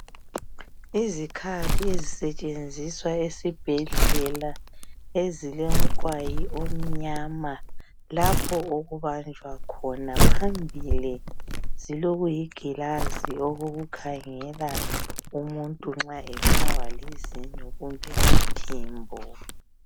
Izikhali ezisetshenziswa esibhedlela ezilomqwayi omnyama lapho okubanjwa khona phambili zilokuyigilazi okokukhangela umuntu nxa ebulawa lizinyo kumbe ngumphimbo